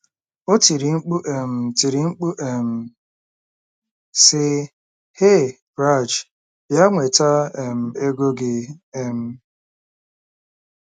O tiri mkpu um tiri mkpu um, sị: “ Hey, Raj, bịa nweta um ego gị. um